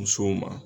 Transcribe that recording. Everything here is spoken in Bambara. Musow ma